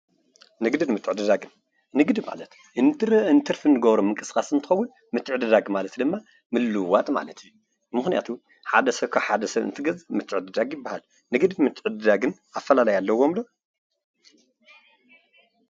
ንግድን ምትዕድዳግን፡- ንግዲ ማለት ንትርፊ እንገብሮ ምንቅስቃስ እንትከውን ምትዕድዳግ ማለት ድማ ምልውዋጥ ማለት እዩ፡፡ ምክንያቱ ሓደ ሰብ ካብ ሓደ ሰብ እንትገዝእ ምትዕድዳግ ይባሃል፡፡ ንግድን ምትዕድዳግን ኣፈላላይ ኣለዎም ዶ?